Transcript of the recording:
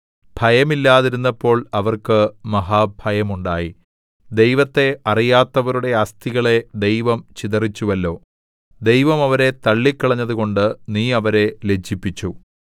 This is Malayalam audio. ഭയമില്ലാതിരുന്നപ്പോൾ അവർക്ക് മഹാഭയമുണ്ടായി ദൈവത്തെ അറിയാത്തവരുടെ അസ്ഥികളെ ദൈവം ചിതറിച്ചുവല്ലോ ദൈവം അവരെ തള്ളിക്കളഞ്ഞതുകൊണ്ട് നീ അവരെ ലജ്ജിപ്പിച്ചു